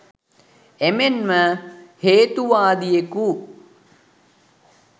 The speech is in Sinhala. එමෙන්ම හේතුවාදියෙකු